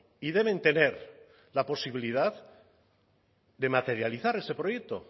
y deben tener la posibilidad de materializar ese proyecto